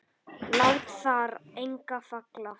Lát þar enga falla.